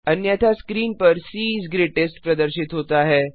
अन्यथा स्क्रीन पर C is greatest प्रदर्शित होता है